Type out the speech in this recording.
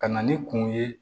Ka na ni kun ye